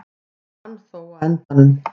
Ég vann þó á endanum.